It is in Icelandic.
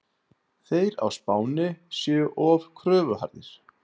Þeir á Spáni séu of kröfuharðir.